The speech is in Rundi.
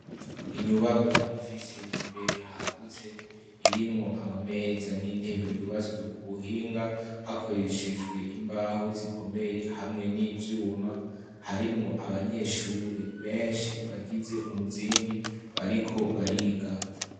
Inyubakwa ifise imbere hagutse, irimwo amameza n'intebe, yubatswe ku buhinga hakoreshejwe imbaho zikomeye hamwe n'ivyuma, harimwo abanyeshure benshi, bagize umuzingi bariko bariga.